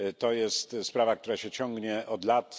Jest to sprawa, która się ciągnie od lat.